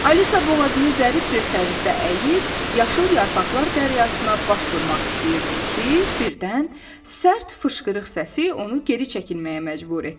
Alisa boğazını zərif bir tərzdə əyib, yaşıl yarpaqlar dəryasına baş vurmaq istəyirdi ki, birdən sərt fışqırıq səsi onu geri çəkilməyə məcbur etdi.